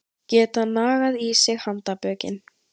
Geta nagað sig í handarbökin